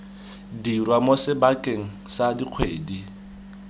dirwa mo sebakeng sa dikgwedi